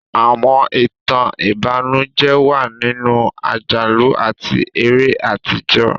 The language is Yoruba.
Àwọn ìtàn ìbànújẹ́ wà nínú àjálù àti eré àtijọ́.